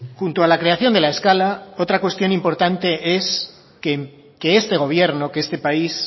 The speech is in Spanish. junto a la creación de la escala otra cuestión importante es que este gobierno que este país